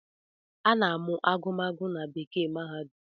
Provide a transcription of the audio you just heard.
A na-amụ agụmagụ na bekee mahadum